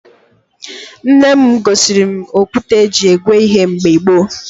Nne m gosiri m okwute e ji egwe ihe mgbe gboo